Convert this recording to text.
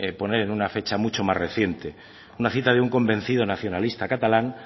poner una fecha mucho más reciente una cita de un convencido nacionalista catalán